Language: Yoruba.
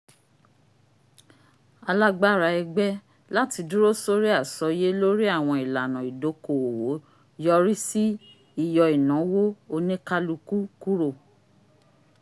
alágbára ẹgbẹ lati dúró sori asọye lori awọn ìlànà idoko-owo yọrí si ìyọ ìnáwó onikaluku kúrò